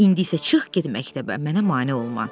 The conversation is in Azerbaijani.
İndi isə çıx get məktəbə, mənə mane olma.